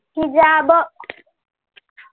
हिजाब